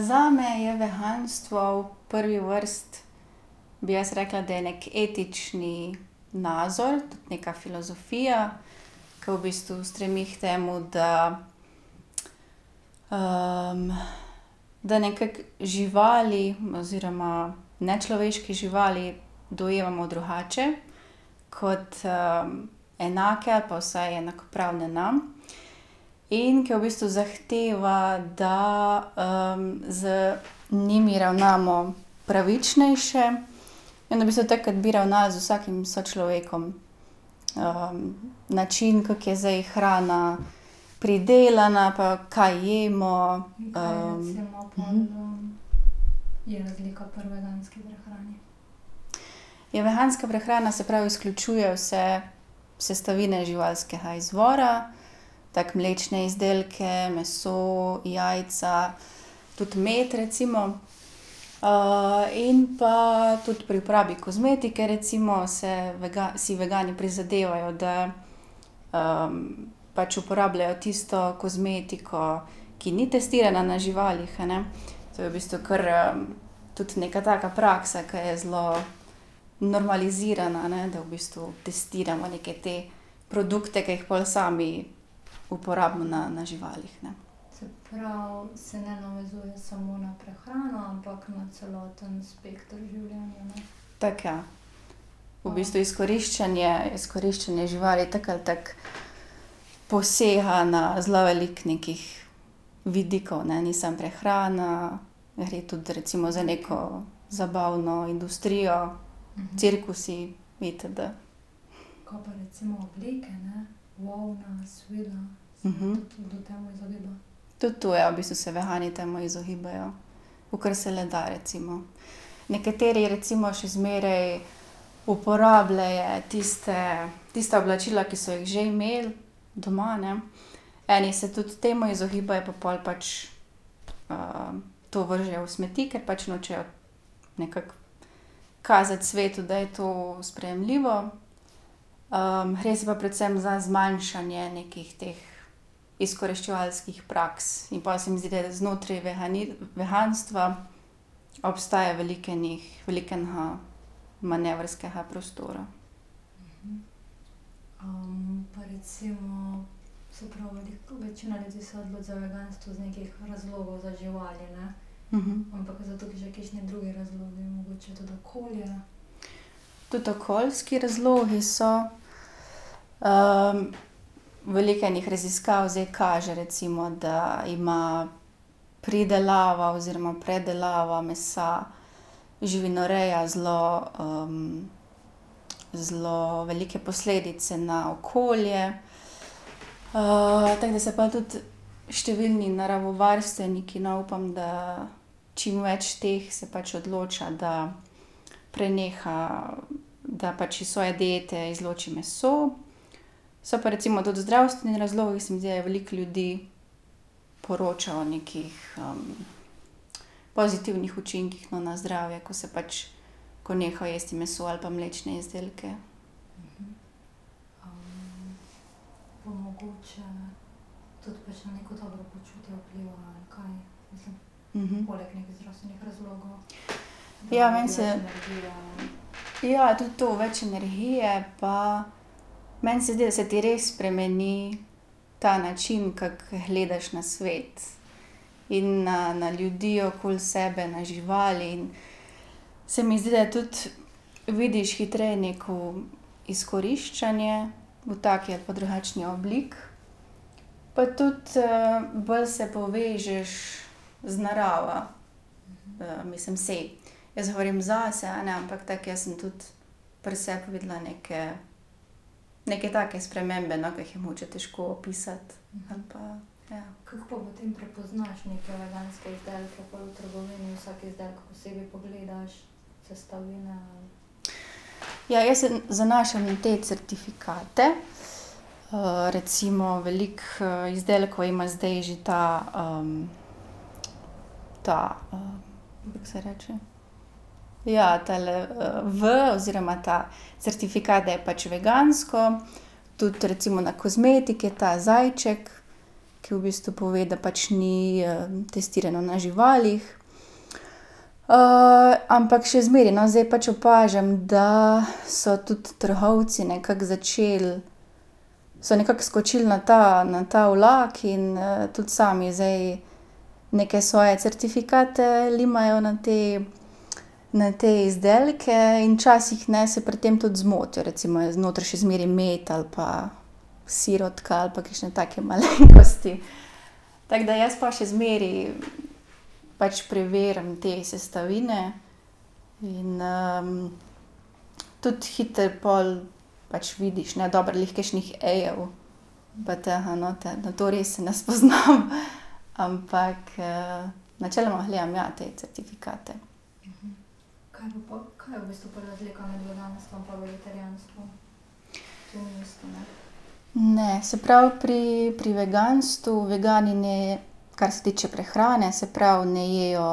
zame je veganstvo v prvi vrsti, bi jaz rekla, da je neki etični nazor, neka filozofija, ke v bistvu stremi k temu, da, da nekako živali oziroma nečloveške živali dojemamo drugače, kot, enake ali pa vsaj enakopravne nam, in ke v bistvu zahteva, da, z njimi ravnamo pravičnejše in v bistvu tako, kot bi ravnali z vsakim sočlovekom. način, kako je zdaj hrana pridelana, pa kaj jemo, Ja, veganska prehrana, se pravi, izključuje vse sestavine živalskega izvora, tako mlečne izdelke, meso, jajca, tudi med recimo. in pa tudi pri uporabi kozmetike recimo se si vegani prizadevajo, da, pač uporabljajo tisto kozmetiko, ki ni testirana na živalih, a ne. To je v bistvu kar, tudi neka taka praksa, ke je zelo normalizirana, a ne, da v bistvu testiramo neke te produkte, ki jih pol sami uporabimo, na, na živalih, ne. Tako ja. V bistvu izkoriščanje, izkoriščanje živali tako ali tako posega na zelo veliko nekih vidikov, ne. Ni samo prehrana, lahko je tudi recimo za neko zabavno industrijo, cirkusi itd. Tudi to, ja. V bistvu se vegani temu izogibajo, kolikor se le da, recimo. Nekateri recimo še zmeraj uporabljajo tiste, tista oblačila, ki so jih že imeli doma, ne, eni se tudi temu izogibajo pa pol pač, to vržejo v smeti, ker pač nočejo nekako kazati svetu, da je to sprejemljivo. gre se pa predvsem za zmanjšanje nekih teh izkoriščevalskih praks. In pol se mi zdi, da znotraj veganstva obstaja veliko enih, veliko enega manevrskega prostora. Tudi okoljski razlogi so. velih enih raziskav zdaj kaže recimo, da ima pridelava oziroma predelava mesa, živinoreja, zelo, zelo velike posledice na okolje. tako da se pol tudi številni naravovarstveniki, no, upam da čim več teh, se pač odloča, da preneha, da pač iz svoje diete izloči meso. So pa recimo tudi zdravstveni razlogi. Se mi zdi, da je veliko ljudi poroča o nekih, pozitivnih učinkih, no, na zdravje, ko se pač, ko nehajo jesti meso ali pa mlečne izdelke. Ja, meni se ... Ja, tudi to. Več energije pa meni se zdi, da se ti res spremeni ta način, kako gledaš na svet in na, na ljudi okoli sebe, na živali, in se mi zdi, da tudi vidiš hitreje neko izkoriščanje v taki ali pa drugačni obliki. Pa tudi, bolj se povežeš z naravo. mislim saj jaz govorim zase, a ne, ampak tako, jaz sem tudi pri sebi videla neke, neke take spremembe, no, ke jih je mogoče težko opisati. Ja, jaz se zanašam na te certifikate. recimo veliko, izdelkov ima zdaj že ta ta, kako se reče? Ja, tale V oziroma ta certifikat, da je pač vegansko. Tudi recimo na kozmetiki je ta zajček, ki v bistvu pove, da pač ni, testirano na živalih. ampak še zmeraj, no, zdaj pač opažam, da so tudi trgovci nekako začeli, so nekako skočili na ta, na ta vlak in, tudi sami zdaj neke svoje certifikate limajo na te, na te izdelke in včasih, ne, se pri tem tudi zmotijo. Recimo je noter še zmeraj med ali pa sirotka ali pa kakšne take malenkosti. Tako da jaz pol še zmeraj pač preverim te sestavine in, tudi hitro pol pač vidiš, ne. Dobro, glih kakšnih e-jev pa tega, no. Na to res se ne spoznam. Ampak, načeloma gledam, ja, te certifikate. Ne. Se pravi, pri, pri veganstvu, vegani ne, kar se tiče prehrane, se pravi, ne jejo,